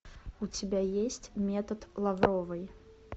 у тебя есть метод лавровой